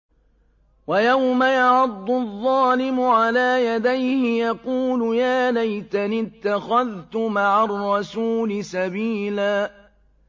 وَيَوْمَ يَعَضُّ الظَّالِمُ عَلَىٰ يَدَيْهِ يَقُولُ يَا لَيْتَنِي اتَّخَذْتُ مَعَ الرَّسُولِ سَبِيلًا